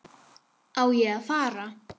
Á ég að fara?